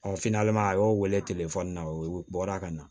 a y'o wele na o bɔra ka na